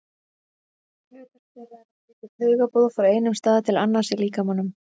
Hlutverk þeirra er að flytja taugaboð frá einum stað til annars í líkamanum.